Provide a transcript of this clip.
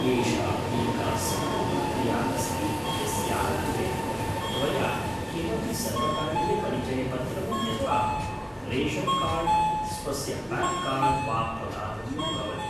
एषा एका सरलप्रक्रिया अस्ति यस्याः कृते, त्वया किमपि सर्वकारीयपरिचयपत्रं यथा रेशन्कार्ड्, स्वस्य पान्कार्ड् वा प्रदातव्यं भवति।